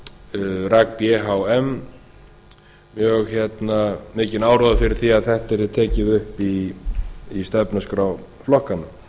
og rak b h m mjög mikinn áróður fyrir því að þetta yrði tekið upp í stefnuskrá flokkanna